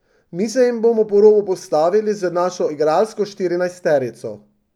Mi se jim bomo po robu postavili z našo igralsko štirinajsterico.